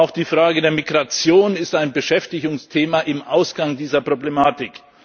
Auch die Frage der Migration ist ein Beschäftigungsthema, im Ausgang dieser Problematik.